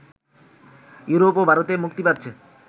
Europe ও ভারতে মুক্তি পাচ্ছে